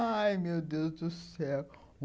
Ai, meu Deus do céu!